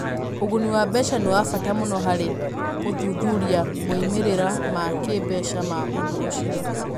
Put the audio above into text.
Ũguni wa mbeca nĩ wa bata mũno harĩ gũthuthuria moimĩrĩro ma kĩĩmbeca ma ũndũ ũcio.